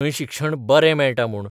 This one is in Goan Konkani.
थंय शिक्षण ' बरें 'मेळटा म्हूण.